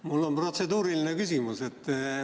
Mul on protseduuriline küsimus.